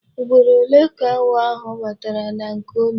Ugboro ole ka awọ ahu batara na nke unu?